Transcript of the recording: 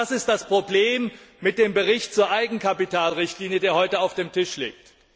Genau das ist das Problem mit dem Bericht zur Eigenkapitalrichtlinie, der heute auf dem Tisch liegt.